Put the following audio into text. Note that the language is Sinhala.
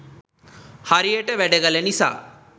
හරියට වැඩ කළ නිසා